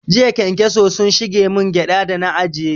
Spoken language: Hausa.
Jiya ƙenkeso sun shige man gyada da na ajiye